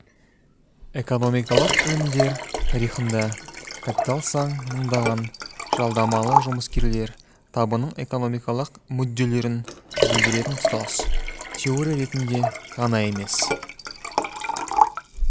экономикалық ілімдер тарихында капиталсан мыңдаған жалдамалы жұмыскерлер табының экономикалық мүдделерін білдіретін тұтас теория ретінде ғана емес